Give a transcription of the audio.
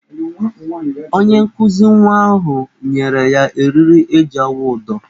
Onye nkụzi nwa ahụ nyere ya eriri eji awụ ụdọ.